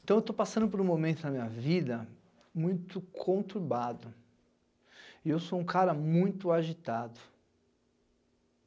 Então, eu estou passando por um momento na minha vida muito conturbado e eu sou um cara muito agitado.